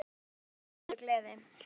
Reyndu bara að missa ekki af honum.